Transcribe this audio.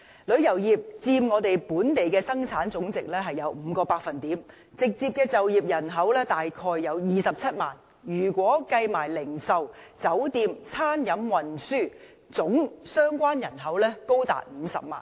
旅遊業佔本地生產總值 5%， 直接就業人口大約27萬，如果一併計算零售、酒店、餐飲及運輸業，相關人口總數更高達50萬。